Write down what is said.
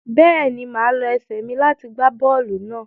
Bẹ́ẹ̀ ni, màá lo ẹsẹ̀ mi láti gbá bọ́ọ́lù náà.